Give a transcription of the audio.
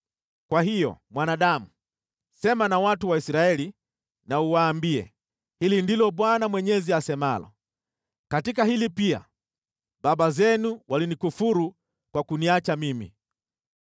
“Kwa hiyo, mwanadamu, sema na watu wa Israeli na uwaambie, ‘Hili ndilo Bwana Mwenyezi asemalo: Katika hili pia, baba zenu walinikufuru kwa kuniacha mimi: